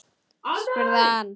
spurði hann.